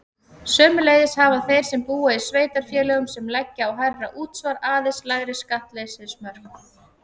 Sömuleiðis hafa þeir sem búa í sveitarfélögum sem leggja á hærra útsvar aðeins lægri skattleysismörk.